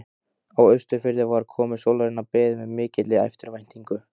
Á Austurfirði var komu sólarinnar beðið með mikilli eftirvæntingu.